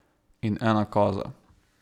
In ena koza.